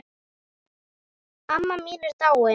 Amma mín er dáin.